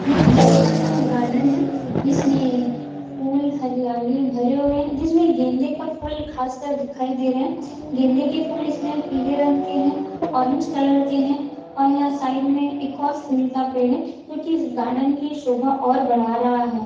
यह एक छोटा सा गार्डन है जिसमें फुल हरियाली भरे हुए हैं जिसमें गेंदे का फुल खासकर दिखाई दे रहा है गेंदे के फुल इसमें पीले रंग के है ऑरेंज कलर के है और यहाँ साइड में एक और फुल का पेड़ है जो कि इस गार्डन की शोभा और बढ़ा रहा है।